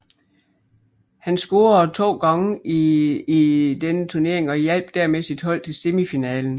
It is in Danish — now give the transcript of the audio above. Han scorede to gange i denne turnering og hjalp dermed sit hold til semifinalen